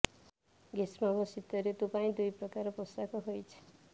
ଗ୍ରୀଷ୍ମ ଓ ଶୀତ ଋତୁ ପାଇଁ ଦୁଇ ପ୍ରକାର ପୋଷାକ ହୋଇଛି